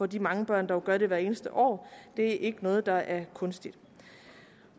de mange børn der jo gør det hvert eneste år det er ikke noget der er kunstigt